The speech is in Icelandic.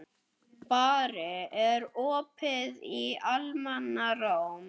Barri, er opið í Almannaróm?